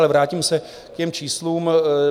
Ale vrátím se k těm číslům.